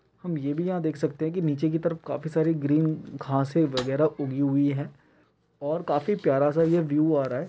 हम ये भी यहाँ देख सकते हैं की नीचे की तरफ काफी सारे ग्रीन घासें वागेरा उगी हुई हैं और काफी प्यारा सा ये व्यू आ रहा है।